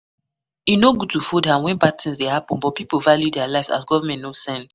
E no good to fold hand when bad thing dey happen but pipo value their lives as government no send